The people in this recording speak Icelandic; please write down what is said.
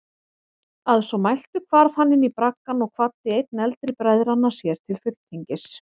Að svo mæltu hvarf hann inní braggann og kvaddi einn eldri bræðranna sér til fulltingis.